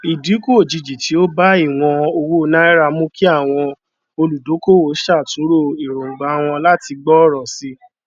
ìdínkù òjijì tí ó bá ìwọn owó naira mú kí àwọn olùdókòwò ṣàtúnrò èróngbà wọn láti gbòòrò sí i